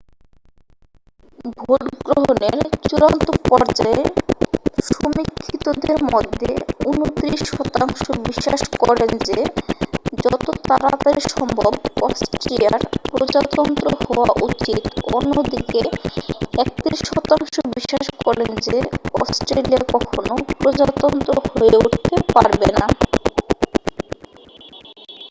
ভোটগ্রহনের চূড়ান্ত পর্যায়ে সমীক্ষিতদের মধ্যে 29 শতাংশ বিশ্বাস করেন যে যত তাড়াতাড়ি সম্ভব অস্ট্রেলিয়ার প্রজাতন্ত্র হওয়া উচিত অন্যদিকে 31 শতাংশ বিশ্বাস করেন যে অস্ট্রেলিয়া কখনও প্রজাতন্ত্র হয়ে উঠতে পারবে না